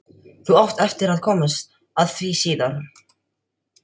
Þú átt eftir að komast að því síðar.